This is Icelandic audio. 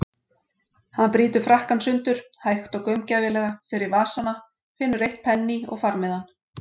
Hann brýtur frakkann sundur, hægt og gaumgæfilega, fer í vasana, finnur eitt penní og farmiðann.